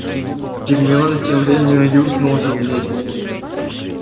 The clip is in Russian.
гермиона тем временем юркнула за дверь